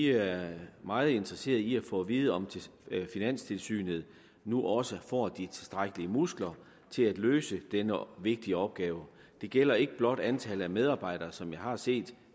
er meget interesseret i at få at vide om finanstilsynet nu også får de tilstrækkelige muskler til at løse denne vigtige opgave det gælder ikke blot antallet af medarbejdere som vi har set